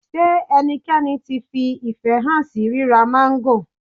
Ṣé ẹnikẹ́ni tí fi ìfẹ́ hàn sí ríra máńgò?